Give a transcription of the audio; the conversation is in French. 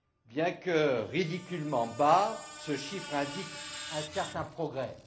Bien que ridiculement bas, ce chiffre indique un certain progrès.